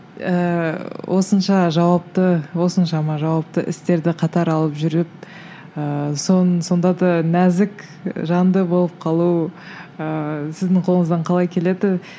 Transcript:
ііі осынша жауапты осыншама жауапты істерді қатар алып жүріп ыыы сонда да нәзік жанды болып қалу ыыы сіздің қолыңыздан қалай келеді